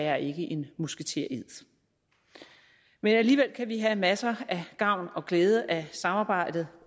er en musketered men alligevel kan vi have masser af gavn og glæde af samarbejdet